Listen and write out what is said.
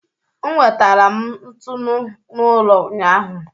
M wetaara m ntunu n'ụlọ ụnyahụ.